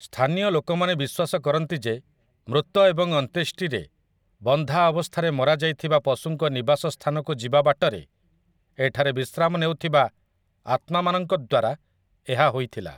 ସ୍ଥାନୀୟ ଲୋକମାନେ ବିଶ୍ୱାସ କରନ୍ତି ଯେ ମୃତ ଏବଂ ଅନ୍ତ୍ୟେଷ୍ଟିରେ ବନ୍ଧାଅବସ୍ଥାରେ ମରାଯାଇଥିବା ପଶୁଙ୍କ ନିବାସ ସ୍ଥାନକୁ ଯିବା ବାଟରେ ଏଠାରେ ବିଶ୍ରାମ ନେଉଥିବା ଆତ୍ମାମାନଙ୍କ ଦ୍ୱାରା ଏହା ହୋଇଥିଲା ।